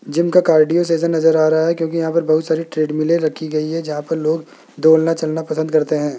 Gym का cardio season नजर आ रहा है क्योंकि यहां पर बहुत सारी ट्रेडमिले रखी गई है जहां पर लोग दौड़ना चलना पसंद करते हैं।